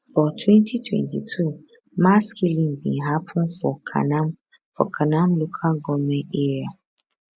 for 2022 mass killing bin happun for kanam for kanam local goment area